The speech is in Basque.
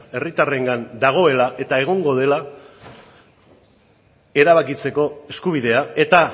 herritarrengan dagoela eta egongo dela erabakitzeko eskubidea eta